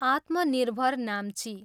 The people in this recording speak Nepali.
आत्मनिर्भर नाम्ची।